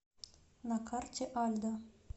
на карте альдо